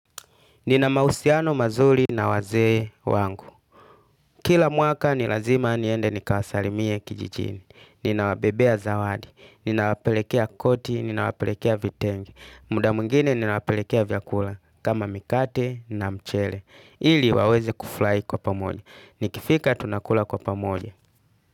Nina mausiano mazuli na wazee wangu. Kila mwaka ni lazima niende nikawasalimie kijijini. Ninawabebea zawadi. Ninawapelekea koti. Ninawapelekea vitenge. Muda mwingine ninawapelekea vyakula. Kama mikate na mchele. Ili waweze kuflai kwa pamoja. Nikifika tunakula kwa pamonye.